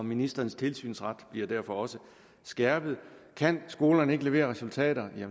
ministerens tilsynsret bliver derfor også skærpet kan skolerne ikke levere resultater